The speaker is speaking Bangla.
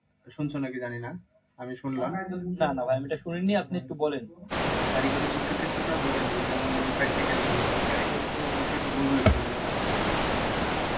শুনছো নাকি জানিনা। আমি শুনলাম। কারিগরি শিক্ষাক্ষেত্র টাও ঢুকেছে যেমন হলো practical গুলো মানে কারিগরি তো বিষয়টা বোঝোই একটু মনে হয়? আহ